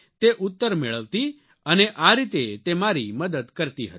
તે ઉત્તર મેળવતી અને આ રીતે તે મારી મદદ કરતી હતી